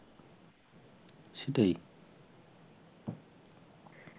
সেটাই